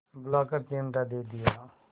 बुलाकर चिमटा दे दिया